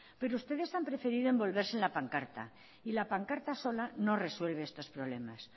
pero ustedes han preferido envolverse en la pancarta y la pancarta sola no resuelve estos problemas